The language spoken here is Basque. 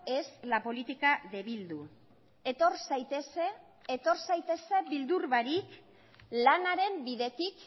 es la política de bildu etor zaitezte beldur barik lanaren bidetik